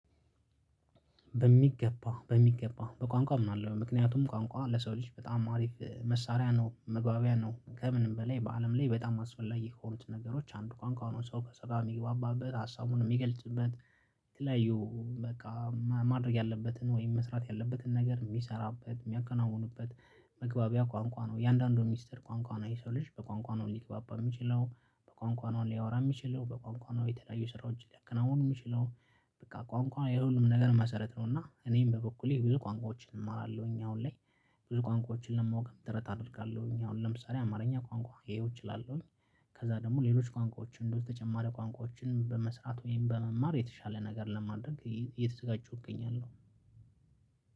በሚገባ በሚገባ በቋንቋ ምናልባት ምክንያቱም ቋንቋ ለሰው ልጅ በጣም አሪፍ መሳሪያ ነው መግባቢያ ነው ከምንም በላይ በአለም ላይ በጣም አስፈላጊ ከሆኑት ነገሮች አንዱ ቋንቋውን ሰው ከሰጋ የሚግባባበት ሀሳቡን የሚገልጽበት የተለያዩ በቃ ማድረግ ያለበትን ወይም መስራት ያለበትን ነገር የሚሰራበት የሚያከናውኑበት መግባቢያ ቋንቋ ነው የአንዳንዱ ሚስጥር ቋንቋ ነው የሰው ልጅ በቋንቋ ነው ሊግባባ የሚችለው በቋንቋናውን ሊያወራ የሚችለው በቋንቋናው የተለያዩ ስራዎችን ሊያከናውኑ የሚችለው። በቃ ቋንቋ የሁሉም ነገር መሰረት ነው እና እኔም በበኩሌ ብዙ ቋንቋዎችን እማራለሁኝ አሁን ላይ። ብዙ ቋንቋዎችን ለማወቅ ደረጃ አደርጋለሁኝ አሁን ለምሳሌ አማርኛ ቋንቋ ይሄው እችላለሁኝ። ከዛ ደግሞ ሌሎች ቋንቋዎች እንደው ተጨማሪ ቋንቋዎችን በመስራት ወይም በመማር የተሻለ ነገር ለማድረግ እየተዘጋጀሁኝ እገኛለሁ።